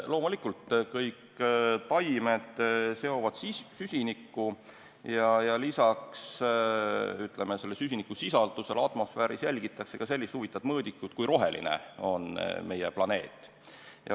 Loomulikult kõik taimed seovad süsinikku ja lisaks atmosfääri süsinikusisaldusele jälgitakse ka sellist huvitavat mõõdikut, et kui roheline on meie planeet.